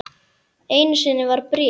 Einu sinni var bréf.